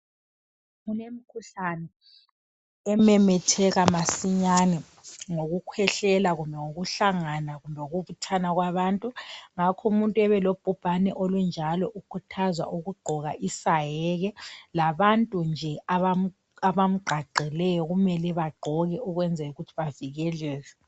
Kulemkhuhlane ememetheka masinyane ngokukhwehlela kumbe ngokuhlangana kumbe ngokubuthana kwabantu. Ngakho umuntu obelobhubhana olunjalo ukhuthazwa ukugqoka isaheke labantu nje abamqaqeleyo kumele bagqoke ukwenzela ukuthi bavikeleke.